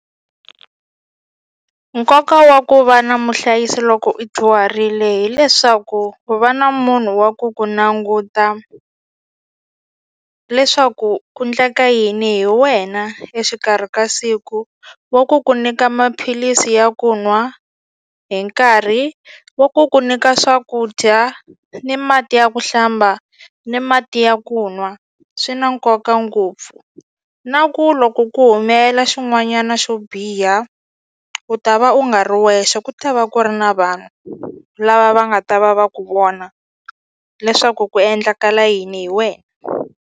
Nkoka wa ku va na muhlayisi loko u dyuharile hileswaku ku va na munhu wa ku ku languta leswaku ku ndleka yini hi wena exikarhi ka siku wa ku ku nyika maphilisi ya ku nwa hi nkarhi wa ku ku nyika swakudya ni mati ya ku hlamba ni mati ya ku nwa swi na nkoka ngopfu na ku loko ku humelela xin'wanyana xo biha u ta va u nga ri wexe ku ta va ku ri na vanhu lava va nga ta va va ku vona leswaku ku endlakala yini hi wena.